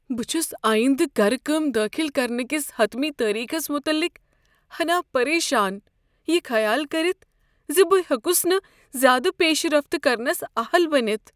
بہٕ چھس آیندہ گركٲم دٲخل کرنہٕ کس حتمی تٲریخس متعلق ہنا پریشان یہ خیال کٔرتھ ز بہٕ ہیوٚکس نہٕ زیادٕ پیشرفت كرنس اہل بٔنِتھ۔